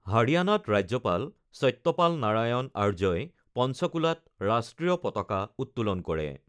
হাৰিয়ানাত ৰাজ্যপাল সত্যপাল নাৰায়ণ আৰ্যই পঞ্চকুলাত ৰাষ্ট্ৰীয় পতাকা উত্তোলন কৰে।